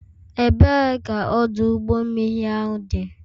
Ebee ka ọdụ ụgbọ mmiri ahụ dị?